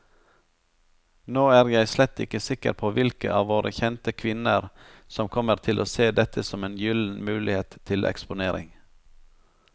Nå er jeg slett ikke sikker på hvilke av våre kjente kvinner som kommer til å se dette som en gyllen mulighet til eksponering.